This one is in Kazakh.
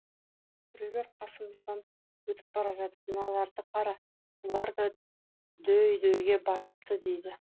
біреулер қасымыздан өтіп бара жатып мыналарды қара бұлар да дөй дөйге басыпты дейді